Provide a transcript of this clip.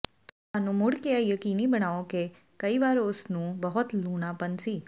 ਤੁਹਾਨੂੰ ਮੁੜ ਕੇ ਇਹ ਯਕੀਨੀ ਬਣਾਓ ਕਿ ਕਈ ਵਾਰ ਉਸ ਨੂੰ ਬਹੁਤ ਲੂਨਾਪਣ ਸੀ